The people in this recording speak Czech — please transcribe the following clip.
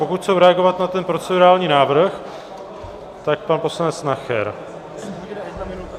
Pokud chtějí reagovat na ten procedurální návrh, tak pan poslanec Nacher.